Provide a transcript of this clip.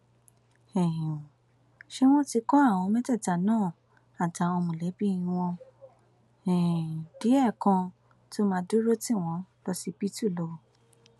um ṣá wọn ti kọ àwọn mẹtẹẹta náà àtàwọn mọlẹbí wọn um díẹ kan tó máa dúró tì wọn lọsibítù lọ